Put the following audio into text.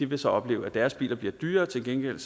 vil så opleve at deres bil bliver dyrere til gengæld